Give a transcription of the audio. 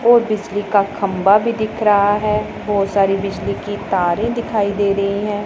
और बिजली का खंभा भी दिख रहा है बहुत सारी बिजली की तारे दिखाई दे रही हैं।